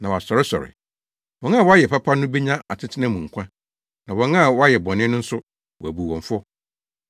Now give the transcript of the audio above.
na wɔasɔresɔre. Wɔn a wɔayɛ papa no benyan atena nkwa mu, na wɔn a wɔayɛ bɔne no nso, wɔabu wɔn fɔ.